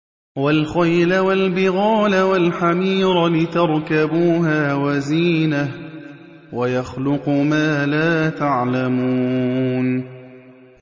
وَالْخَيْلَ وَالْبِغَالَ وَالْحَمِيرَ لِتَرْكَبُوهَا وَزِينَةً ۚ وَيَخْلُقُ مَا لَا تَعْلَمُونَ